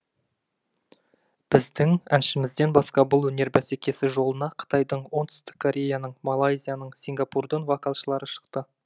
біздің әншімізден басқа бұл өнер бәсекесі жолына қытайдың оңтүстік кореяның малайзияның сингапурдың вокалшылары шықты